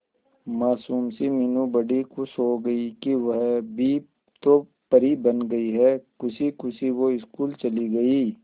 मासूम सी मीनू बड़ी खुश हो गई कि वह भी तो परी बन गई है खुशी खुशी वो स्कूल चली गई